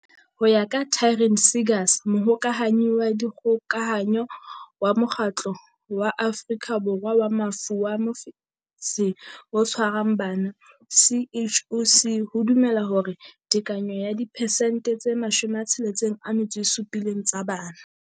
Ho ya ka Taryn Seegers, Mohokahanyi wa Dikgoka hanyo wa Mokgatlo wa Afrika Borwa wa Mafu a Mofetshe o Tshwarang Bana, CHOC, ho dumelwa hore tekano ya diphesente tse 67 tsa bana.